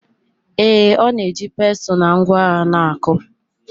Ee, ọ na-eji pestle na ngwa agha na-akụ.